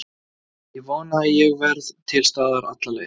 Ég vona að ég verði til staðar alla leið.